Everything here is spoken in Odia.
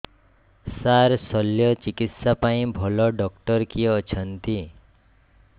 ସାର ଶଲ୍ୟଚିକିତ୍ସା ପାଇଁ ଭଲ ଡକ୍ଟର କିଏ ଅଛନ୍ତି